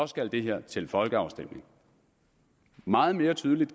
skal det her til folkeafstemning meget mere tydeligt